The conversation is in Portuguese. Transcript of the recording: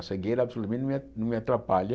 A cegueira absolutamente não me a não me atrapalha.